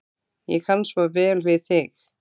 Ég kann svo vel við þig.